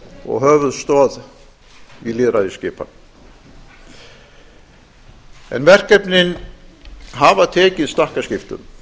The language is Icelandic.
og höfuðstoð í lýðveldisskipan en verkefnin hafa tekið stakkaskiptum